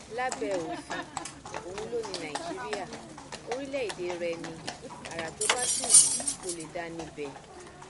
lábẹ òfin òun ló ní nàìjíríà orílẹèdè rẹ ní ara tó bá sì wù ú ló lè dá níbẹ